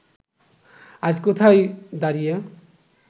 আজ কোথায় দাঁড়িয়ে